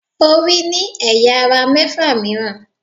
Orí ní ẹ̀yà - ara mẹ́fà mìíràn.